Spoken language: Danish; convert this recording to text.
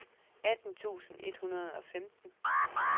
atten tusind et hundrede og femten